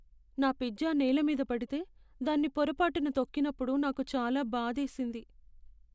నా పిజ్జా నేల మీద పడితే, దాన్ని పొరపాటున తొక్కినప్పుడు నాకు చాలా బాధేసింది.